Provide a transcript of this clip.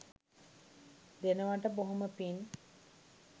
දෙනවට බොහොම පින්